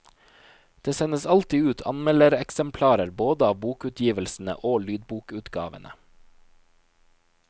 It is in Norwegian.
Det sendes alltid ut anmeldereksemplarer både av bokutgivelsene og lydbokutgavene.